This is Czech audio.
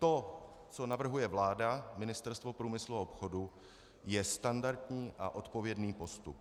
To, co navrhuje vláda, Ministerstvo průmyslu a obchodu, je standardní a odpovědný postup.